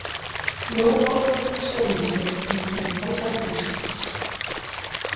Jón Ólafur hugsaði með sér að þetta væri alvara lífsins.